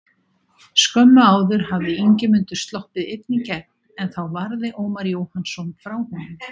Skömmu áður hafði Ingimundur sloppið einn í gegn en þá varði Ómar Jóhannsson frá honum.